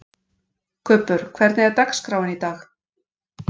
Kubbur, hvernig er dagskráin í dag?